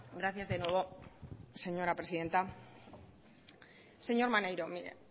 gracias de nuevo señora presidenta señor maneiro mire